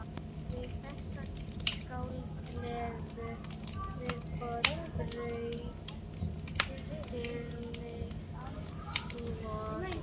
Við þessa skáldlegu viðbót þraut stilling Símonar.